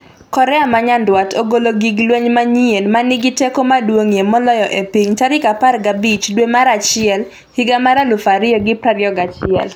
Korea ma Nyanduat ogolo gig lweny manyien 'ma nigi teko maduong'ie moloyo e piny' tarik 15 dwe mar achiel higa mar 2021